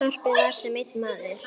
Þorpið var sem einn maður.